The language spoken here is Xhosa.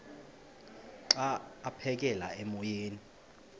xa aphekela emoyeni